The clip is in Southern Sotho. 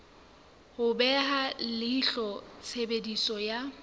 ho beha leihlo tshebediso ya